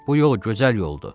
Bu yol gözəl yoldur.